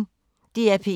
DR P1